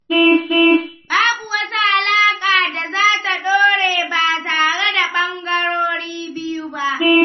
Babu wata alaƙa da za ta ɗore ba tare da ɓangarorin biyu ba.